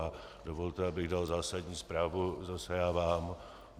A dovolte, abych dal zásadní zprávu zase já vám.